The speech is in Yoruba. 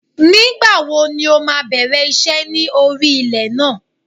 Nígbà wo ni o máa bẹ̀rẹ̀ iṣẹ́ ní orí ilẹ̀ náà